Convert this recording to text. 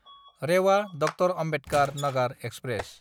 रेवा–ड. Ambedkar Nagar express